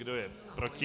Kdo je proti?